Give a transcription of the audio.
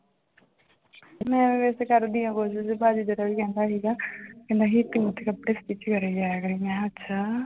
ਮੈਂ ਵੈਸੇ ਕਰਦੀ ਹਾਂ ਕੋਸ਼ਿਸ਼ ਭਾਜੀ ਤੇ ਕੱਲ੍ਹ ਕਹਿੰਦਾ ਸੀਗਾ ਕਿ ਨਹੀਂ ਤੂੰ ਉੱਥੇ ਕੱਪੜੇ stitch ਕਰੀ ਜਾਇਆ ਕਰੀ, ਮੈਂ ਕਿਹਾ ਅੱਛਾ।